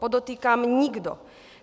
Podotýkám nikdo!